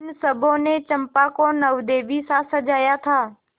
उन सबों ने चंपा को वनदेवीसा सजाया था